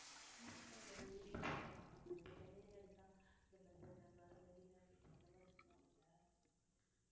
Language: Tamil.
ஒரு beach தான் இருக்கா இப்ப சென்னைன்னு எடுத்தா பெசன்ட் நகர், மெரினா பீச் அந்த மாதிரி சொல்லுவோம்ல